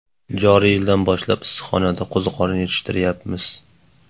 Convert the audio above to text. Joriy yildan boshlab issiqxonada qo‘ziqorin yetishtiryapmiz.